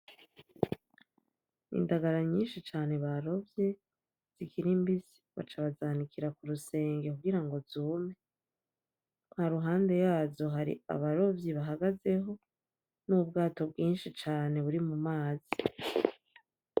Indagara nyinshi cane barovye zikiri mbisi baca bazanikira k'urusenge kugira ngo zume, haruhande yazo hari abarovyi bahagazeho n'ubwato bwinshi cane buri mu mazi.